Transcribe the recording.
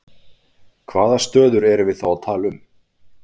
Hvaða stöður erum við þá að tala um?